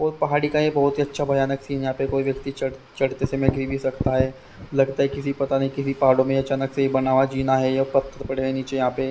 और पहाड़ी का यह बहुत ही अच्छा भयानक सीन यहां पर कोई व्यक्ति चढ़ चढ़ते समय गिर भी सकता है लगता है किसी पता नहीं किसी पहाड़ों में अचानक से बना हुआ जीना है या पत्थर पड़े नीचे यहां पर--